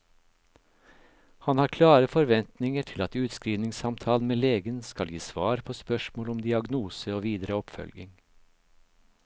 Han har klare forventninger til at utskrivningssamtalen med legen skal gi svar på spørsmål om diagnose og videre oppfølging.